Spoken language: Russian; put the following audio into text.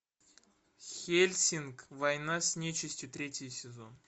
хельсинг война с нечистью третий сезон